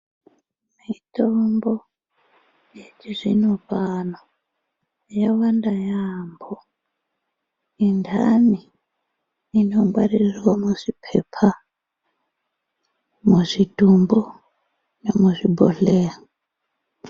Mitombo yechizvino pano yawanda yaambo, nendhani inogwaririrwa muzvipepa, muzvitombo nemuzvibhodhleya.